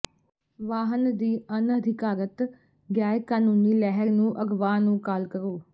ਵਾਹਨ ਦੀ ਅਣਅਧਿਕਾਰਤ ਗੈਰ ਕਾਨੂੰਨੀ ਲਹਿਰ ਨੂੰ ਅਗਵਾ ਨੂੰ ਕਾਲ ਕਰੋ